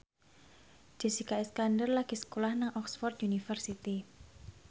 Jessica Iskandar lagi sekolah nang Oxford university